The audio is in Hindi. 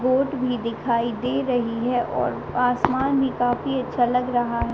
बोट भी दिखाई दे रही है और आसमान भी काफ़ी अच्छा लग रहा है।